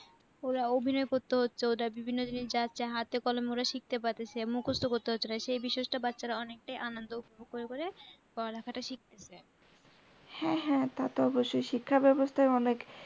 ওরা অভিনয় করতে হচ্ছে ওদের বিভিন্ন জিনিস জানছে হাতে কলমে ওরা শিখতে পারসে, মুখস্ত করত হচ্ছে না সেই বিশেষ টা বাচ্চারা অনেকটায় আনন্দ উপভোগ করে করে পড়ালেখা টা শিখতেসে হ্যাঁ হ্যাঁ তা তো অবশ্যই শিক্ষাব্যবস্থা অনেক